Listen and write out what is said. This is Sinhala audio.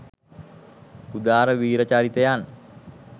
උදාර වීර චරිතයන්